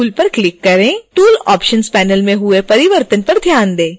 tool options panel में हुए परिवर्तन पर ध्यान दें